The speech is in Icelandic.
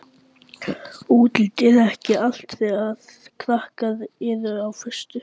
Útlitið er ekki allt þegar krakkar eru á föstu.